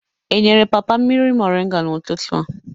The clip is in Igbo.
E nyere papa mmiri moringa n'ụtụtụ a?